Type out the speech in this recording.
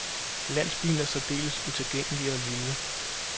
Landsbyen er særdeles utilgængelig og lille.